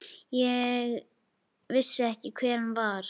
Ég vissi ekki hver hann var.